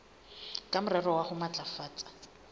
ka morero wa ho matlafatsa